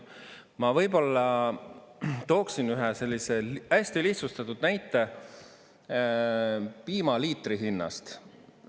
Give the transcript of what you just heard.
Ma võib-olla tooksin ühe sellise hästi lihtsustatud näite piimaliitri hinnast.